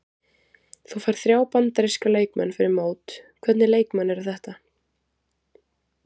Þú færð þrjá Bandaríska leikmenn fyrir mót, hvernig leikmenn eru þetta?